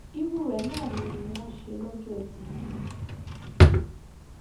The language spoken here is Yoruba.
irú rẹ náà ni wọn ṣe lọjọ etí yìí